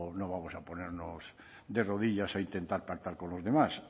no vamos a ponernos de rodillas a intentar pactar con los demás